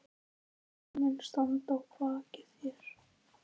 Tveir menn standa að baki þér.